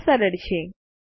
આ સરળ છે